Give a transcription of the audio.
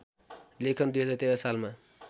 लेखन २०१३ सालमा